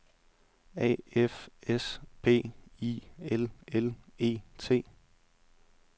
A F S P I L L E T